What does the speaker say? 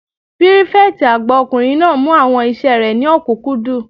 Pírífẹ̀tì àgbà ọkùnrin náà mú àwọn iṣẹ́ rẹ̀ ní òkúnkúndùn